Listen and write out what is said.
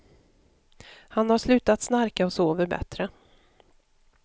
Han har slutat snarka och sover bättre.